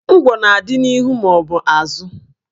Ngwọ na-adị n'ihu maọbụ azụ